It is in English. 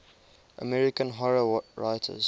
american horror writers